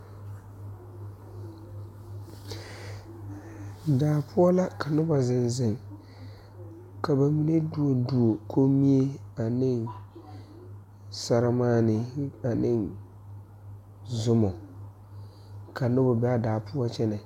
Daa poɔ la ka nobɔ zeŋ zeŋ ka ba mine duori duori kommie aneŋ sɛrimaanee ane zumɔ ka nobɔ bee aa daa poɔ kyɛnɛ.